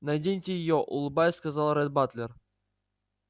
наденьте её улыбаясь сказал ретт батлер